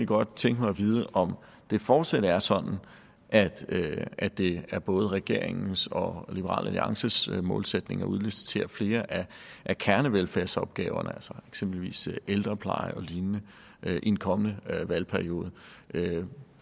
godt tænke mig at vide om det fortsat er sådan at det er både regeringens og liberal alliances målsætning at udlicitere flere af kernevelfærdsopgaverne som eksempelvis ældrepleje og lignende i en kommende valgperiode